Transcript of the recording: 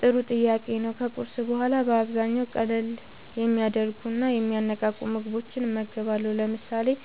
ጥሩ ጥያቄ ነዉ ከቁርስ በኋላ በአብዛኛዉ ቀለል የሚያደርጉና የሚያነቃቁ ምግቦችን እመገባለሁ። ለምሳሌ፦